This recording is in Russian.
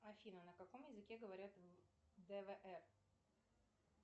афина на каком языке говорят в двр